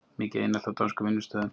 Mikið einelti á dönskum vinnustöðum